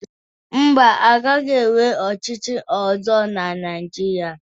Mba, a gaghị enwe ọchịchị ọzọ na Naijiria